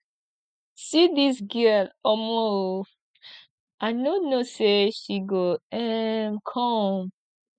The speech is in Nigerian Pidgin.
see dis girl um oo i no know say she go um come